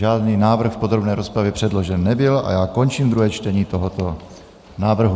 Žádný návrh v podrobné rozpravě předložen nebyl a já končím druhé čtení tohoto návrhu.